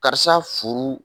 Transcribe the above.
Karisa furu